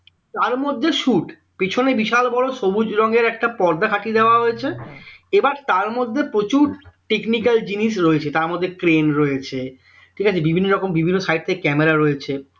তারমধ্যে shoot পিছনে বিশাল বড় সবুজ রঙের একটা পর্দা খাটিয়ে দেওয়া হয়েছে এবার তার মধ্যে প্রচুর technical জিনিস রয়েছে তার মধ্যে crain রয়েছে ঠিক আছে বিভিন্ন রকম বিভিন্ন side থেকে camera রয়েছে